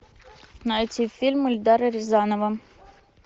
найти фильм эльдара рязанова